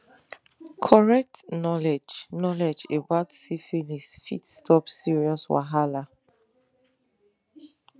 correct knowledge knowledge about syphilis fit stop serious wahala